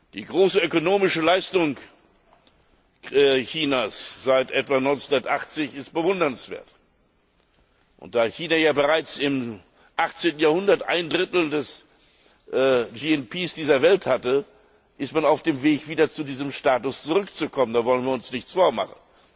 Die große ökonomische Leistung Chinas seit etwa 1980 ist bewundernswert. Nachdem China bereits im 18. Jahrhundert ein Drittel des BSP dieser Welt hatte, ist man auf dem Weg, wieder zu diesem Status zurückzukommen, da wollen wir uns nichts vormachen.